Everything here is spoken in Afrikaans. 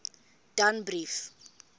danbrief